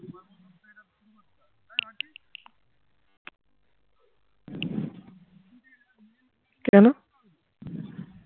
কেনো